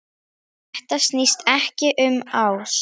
Þetta snýst ekkert um ást.